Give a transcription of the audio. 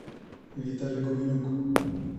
виталя гуменюк